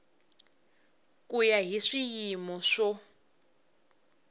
ku ya hi swiyimo swo